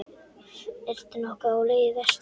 Ertu nokkuð á leið vestur?